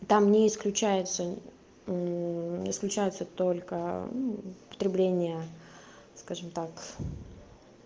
там не исключается исключаются только ну потребление скажем так